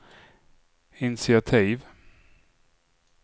initiativ